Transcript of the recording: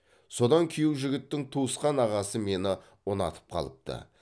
содан күйеу жігіттің туысқан ағасы мені ұнатып қалыпты